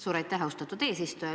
Suur aitäh, austatud eesistuja!